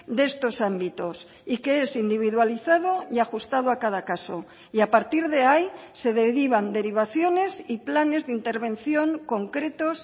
de estos ámbitos y que es individualizado y ajustado a cada caso y a partir de ahí se derivan derivaciones y planes de intervención concretos